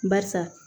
Barisa